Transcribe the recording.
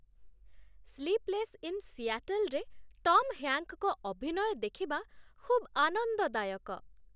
Sleepless in ସିଆଟଲ୍‌ରେ Tom ହ୍ୟାଙ୍କ୍‌ଙ୍କ ଅଭିନୟ ଦେଖିବା ଖୁବ୍ ଆନନ୍ଦଦାୟକ।